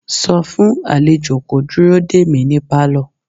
sọ fún àlejò kó dúró dè mí ní Pálọ̀!